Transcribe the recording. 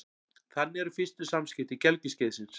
Þannig eru fyrstu samskipti gelgjuskeiðsins.